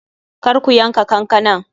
Kar ku yanka kankanan!